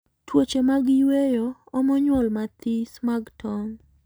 Tuoche mag yweyo omo nyuol mathis mag tong